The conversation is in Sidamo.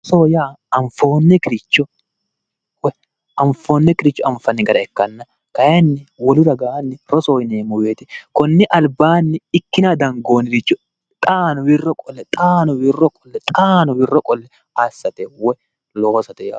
rosoho yaa anfoonikkiricho anfanni gara ikkanna kayiinni wolu ragaanni rosoho yineemmo woyte konni albaanni ikkinanni dangoonniricho xaanni wirro qolle xaanni wirro qolle xaano wirro qolle assate woy loosate